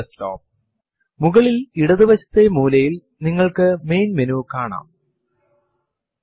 പ്രധാനമായും ശ്രദ്ധിക്കേണ്ട ഒരു കാര്യം ലിനക്സ് കമാൻഡ്സ് കൾ കേസ് സെൻസിറ്റീവ് ആണ് എന്നതാണ്